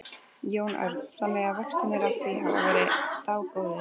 Jón Örn: Þannig að vextirnir af því hafa verið dágóðir?